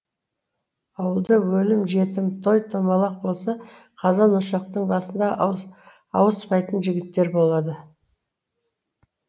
ауылда өлім жітім той томалақ болса қазан ошақтың басында ауыспайтын жігіттер болады